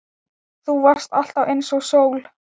Þú varst alltaf einsog sól.